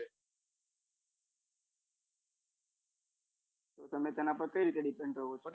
તમે તેના પર કઈ રીતે depend હોવ છો?